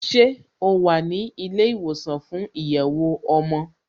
Ṣé o wà ní ilé ìwòsàn fún ìyẹ̀wò ọmọ?